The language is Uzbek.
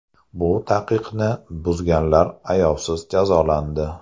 Bu taqiqni buzganlar ayovsiz jazolandi.